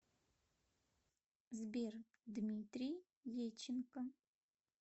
сбер дмитрий еченко